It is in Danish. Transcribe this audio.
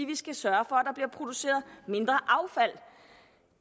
vi skal sørge produceret mindre affald